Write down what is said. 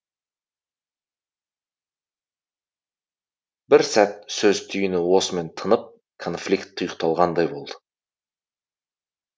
бір сәт сөз түйіні осымен тынып конфликт тұйықталғандай болады